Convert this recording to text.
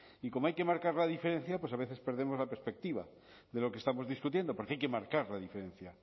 y como hay que marcar la diferencia pues a veces perdemos la perspectiva de lo que estamos discutiendo porque hay que marcar la diferencia